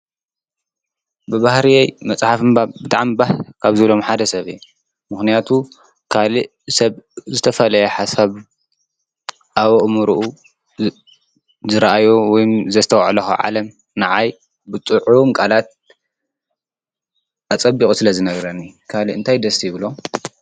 ብባህርየይ መጽሓፍ ምንባብ ብጣዕሚ ባህ ካብ ዝብሎም ሓደ ሰበ እየ፡፡ ምኽንያቱ ካልእ ሰብ ዝተፈልየ ሓሳብ ኣብ ኣእምርኡ ዝረአዮ ወይም ዘስተውዕሎ ካብ ዓለም ንዓይ ብጥዑም ቃላት ኣብ ፅቡቑ ስለ ዝነግረኒእዩ፡፡ ካልእ አንታይ ደስ ይብሎም?